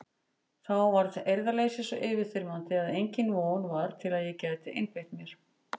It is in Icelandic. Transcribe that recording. Þá varð eirðarleysið svo yfirþyrmandi að engin von var til að ég gæti einbeitt mér.